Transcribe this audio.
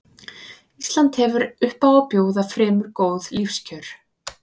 Ísland hefur upp á að bjóða fremur góð lífskjör.